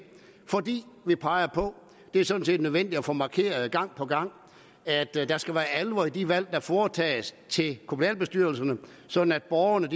fordi vi peger på det er sådan set nødvendigt at få markeret gang på gang at der skal være alvor i de valg der foretages til kommunalbestyrelserne sådan at borgerne